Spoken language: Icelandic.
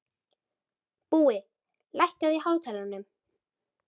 Búi, lækkaðu í hátalaranum.